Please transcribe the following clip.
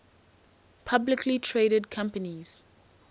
publicly traded companies